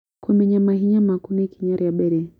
Kũmenya mahinya maku nĩ ikinya rĩa mbere.